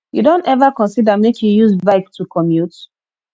you don ever consider make you use bike to commute